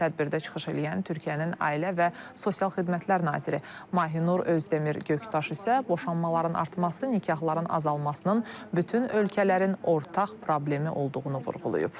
Tədbirdə çıxış eləyən Türkiyənin Ailə və Sosial Xidmətlər Naziri Mahinur Özdemir Göktaş isə boşanmaların artması, nikahların azalmasının bütün ölkələrin ortaq problemi olduğunu vurğulayıb.